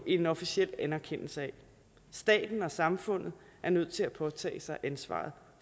en officiel anerkendelse af staten og samfundet er nødt til at påtage sig ansvaret